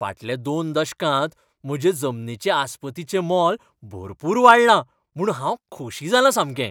फाटल्या दोन दशकांत म्हजे जमनीचे आस्पतीचें मोल भरपूर वाडलां म्हूण हांव खोशी जालां सामकें.